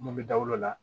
Mun bɛ da o la